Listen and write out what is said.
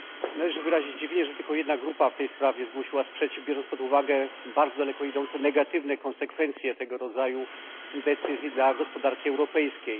Należy wyrazić zdziwienie, że tylko jedna grupa w tej sprawie zgłosiła sprzeciw, biorąc pod uwagę bardzo daleko idące negatywne konsekwencje tego rodzaju decyzji dla gospodarki europejskiej.